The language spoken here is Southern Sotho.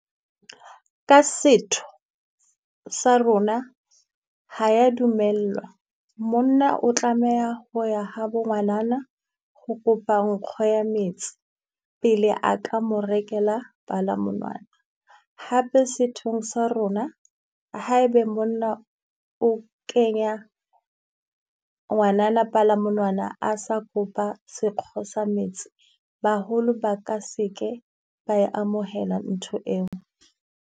Ka setho sa rona ha ya dumellwa, monna o tlameha ho ya habo ngwanana ho kopa nkgo ya metsi pele a ka mo rekela palamonwana. Hape sethong sa rona ha e be monna o kenya ngwanana palamonwana a sa kopa sekgo sa metsi, baholo ba ka se ke ba e amohela ntho eo.